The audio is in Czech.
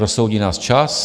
Rozsoudí nás čas.